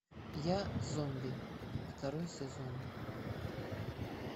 я зомби второй сезон